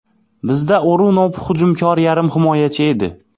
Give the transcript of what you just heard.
Bizda O‘runov hujumkor yarim himoyachi edi.